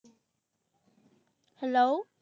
hello